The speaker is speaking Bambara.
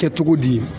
Kɛ cogo di